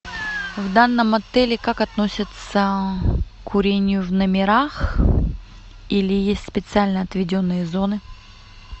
в данном отеле как относятся к курению в номерах или есть специально отведенные зоны